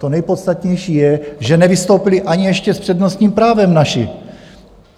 To nejpodstatnější je, že nevystoupili ani ještě s přednostním právem naši.